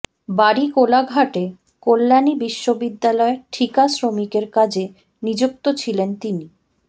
বাড়ি কোলাঘাটে কল্যাণী বিশ্ববিদ্যালয়ে ঠিকা শ্রমিকের কাজে নিযুক্ত ছিলেন তিনি